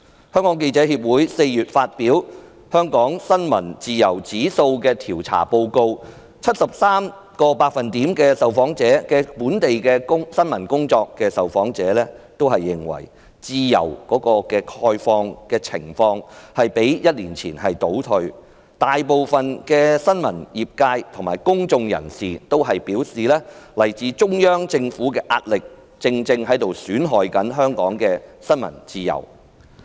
香港記者協會4月發表"香港新聞自由指數調查報告"，顯示有 73% 在本地從事新聞工作的受訪者認為，香港新聞自由的情況較1年前倒退，大部分新聞業界和公眾人士均表示，來自中央政府的壓力正在損害香港的新聞自由。